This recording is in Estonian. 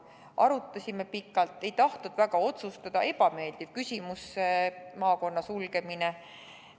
Arutasime pikalt, ei tahtnud väga otsustada – ebameeldiv küsimus see maakonna sulgemine.